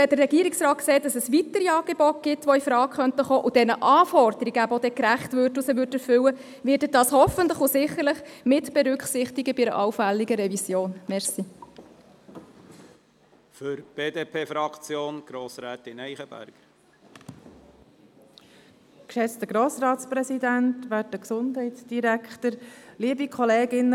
Wenn der Regierungsrat sieht, dass es weitere Angebote gibt, die infrage kommen könnten, diesen Anforderungen gerecht würden und sie erfüllen würden, wird er dies hoffentlich und sicherlich bei einer allfälligen Revision mitberücksichtigen.